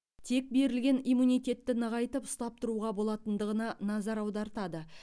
тек берілген иммунитетті нығайтып ұстап тұруға болатындығына назар аудартады